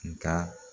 Nga